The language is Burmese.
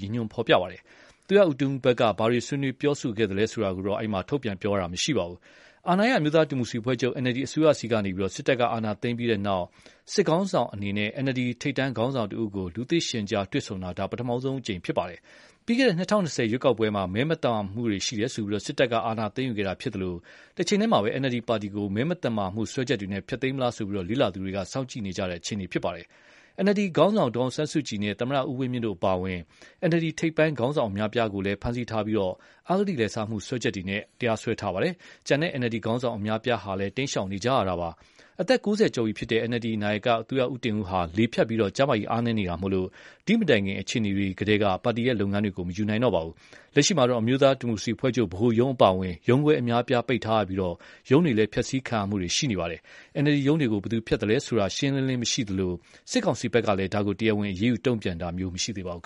ရည်ညွှန်းဖော်ပြပါတယ်။ NLD နာယက သူရဦးတင်ဦးဘက်က ဘာတွေဆွေးနွေး ပြောဆိုခဲ့သလဲ ဆိုတာကိုတော့ မသိရသေးပါဘူး။ ရွေးကောက်ပွဲအနိုင်ရ အမျိုးသားဒီမိုကရေစီအဖွဲ့ချုပ် (NLD) အစိုးရဆီကနေ စစ်တပ်က အာဏာသိမ်းပြီးတဲ့နောက် စစ်ခေါင်းဆောင်အနေနဲ့ NLD ထိပ်တန်းခေါင်းဆောင်တဦးကို လူသိရှင်ကြားတွေ့ဆုံတာ ဒါ ပထမဦးဆုံးလည်း ဖြစ်ပါတယ်။ ပြီးခဲ့တဲ့ ၂၀၂၀ ရွေးကောက်ပွဲမှာ မဲမသမာမှုတွေ ရှိတယ်ဆိုပြီး စစ်တပ်က အာဏာသိမ်းယူခဲ့တာ ဖြစ်သလို တချိန်တည်းမှာ NLD ပါတီကို မဲမသမာမှု စွဲချက်တွေနဲ့ ဖျက်သိမ်းမလားဆိုပြီး လေ့လာသူတွေ စောင့်ကြည့်နေကြရတဲ့ အခြေအနေပါ။ NLD ခေါင်းဆောင် ဒေါ်အောင်ဆန်းစုကြည်နဲ့ သမ္မတ ဦးဝင်းမြင့်တို့ အပါအဝင် NLD ထိပ်ပိုင်းခေါင်းဆောင် အများအပြားကိုလည်း ဖမ်းဆီးထားပြီး အဂတိလိုက်စားမှုတွေနဲ့ စွဲချက်တင်ထားပါတယ်။ ကျန်တဲ့ NLD ခေါင်းဆောင် အများအပြားဟာလည်း တိမ်းရှောင်နေကြရတာပါ။ အသက် ၉၀ ကျော်ပြီဖြစ်တဲ့ NLD နာယက သူရဦးတင်ဦးဟာ လေဖြတ်ပြီး ကျန်းမာရေး အားနည်းနေတာမို့ ဒီမတိုင်ခင် အခြေအနေတွေကတည်းက ပါတီလုပ်ငန်းတွေကို မယူနိုင်တော့ပါဘူး။ လက်ရှိမှာတော့ အမျိုးသားဒီမိုကရေစီအဖွဲ့ချုပ် ဗဟိုရုံး အပါအဝင် ရုံးခွဲအများအပြား ပိတ်ထားရပြီး ရုံးတွေ ဖျက်ဆီးခံရမှုတွေလည်း ရှိနေပါတယ်။ NLD ရုံးတွေကို ဘယ်သူဖျက်ဆီးသလဲဆိုတာ ရှင်းရှင်းလင်းလင်း မရှိသလို စစ်ကောင်စီဘက်ကလည်း ဒါကို တရားဝင် အရေးယူ တုံ့ပြန်တာမျိုး မရှိသေးပါဘူး